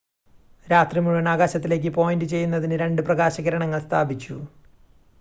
രാത്രി മുഴുവൻ ആകാശത്തിലേക്ക് പോയിൻ്റ് ചെയ്യുന്നതിന് രണ്ട് പ്രകാശകിരണങ്ങൾ സ്ഥാപിച്ചു